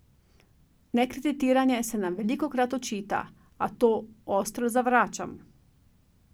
Nekreditiranje se nam velikokrat očita, a to ostro zavračam.